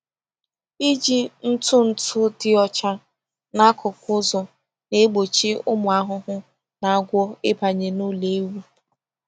Iji ntụ ntụ dị ọcha n’akụkụ ụzọ na-egbochi ụmụ ahụhụ na agwọ ịbanye n’ụlọ ewu.